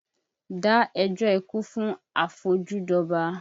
Dá ẹjọ́ ikú fún afojú dọba!